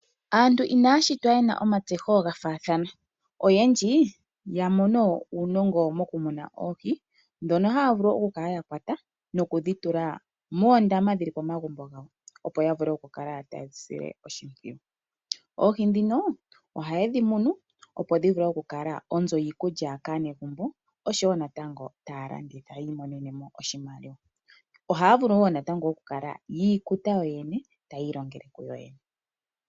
Aantu inaya shitwa ye na omatseho ga faathana. Oyendji ya mono uunongo mokumuna oohi ndhono haya vulu okukala ya kwata noku dhi tula moondama dhi li pomagumbo gawo, opo ya vule okukala taye dhi sile oshimpwiyu. Oohi ndhino ohaye dhi munu, opo dhi vule okukala onzo yiikulya kaanegumbo, oshowo natango taya kanditha yi imonene mo oshimaliwa. Ohaya vulu wo natango okukala yi ikuta yoyene taya ilongele kuyoyene.